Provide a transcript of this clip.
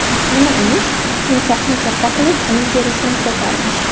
Nima emish, timsohni katta qilib, uning terisini sotarmish.